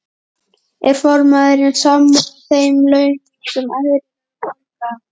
Er formaðurinn sammála þeim launum sem aðrir eru að borga?